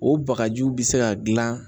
O bagajiw bi se ka gilan